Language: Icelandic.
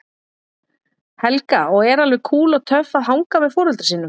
Helga: Og er alveg kúl og töff að hanga með foreldrum sínum?